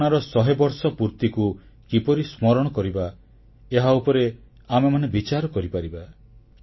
ଏହି ଘଟଣାର ଶହେବର୍ଷ ପୂର୍ତିକୁ କିପରି ସ୍ମରଣ କରିବା ଏହାଉପରେ ଆମେମାନେ ବିଚାର କରିପାରିବା